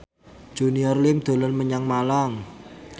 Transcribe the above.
Junior Liem dolan menyang Malang